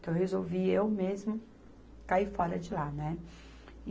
Então, eu resolvi eu mesmo cair fora de lá, né.